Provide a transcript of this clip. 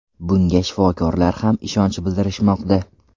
Bunga shifokorlar ham ishonch bildirishmoqda.